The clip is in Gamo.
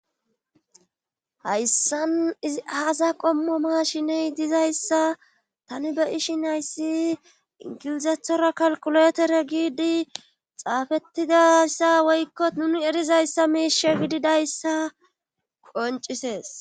hayssan izi haasa qommo maashiney dizayssa tani be ishin ayssi ingilizethora kalkuletere giidi xaafettidayssa woykko nuni erizayssa miishe gididayssa qoncisees